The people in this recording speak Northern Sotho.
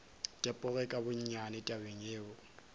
tepoge ka gonnyane tabeng yeo